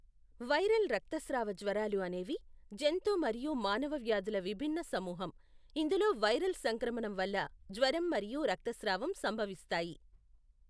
Viral రక్తస్రావ జ్వరాలు అనేవి జంతు మరియు మానవ వ్యాధుల విభిన్న సమూహం, ఇందులో వైరల్ సంక్రమణం వల్ల జ్వరం మరియు రక్తస్రావం సంభవిస్తాయి.